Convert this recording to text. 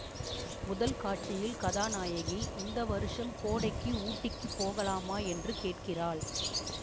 முதல் காட்சியில் கதாநாயகி இந்த வருஷம் கோடைக்கு ஊட்டிக்குப் போகலாமா என்று கேட்கிறாள்